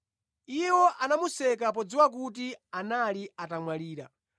Iwo anamuseka podziwa kuti anali atamwalira.